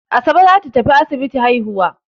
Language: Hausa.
Asabe ta tafi asibiti haihuwa.